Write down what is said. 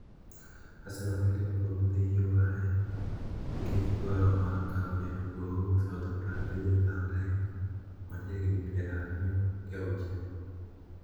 Arsenal gi Liverpool dhi yware nikech dwaro mar kawo jatugo mawuok Southampton Virjil van Dijk ma ja higni pier ariyo gi auchiel.